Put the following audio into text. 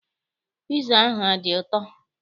Piza ahụ adị ụtọ?